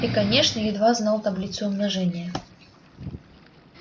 и конечно едва знала таблицу умножения